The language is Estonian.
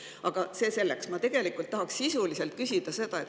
Aga see selleks, ma tegelikult tahan sisuliselt küsida.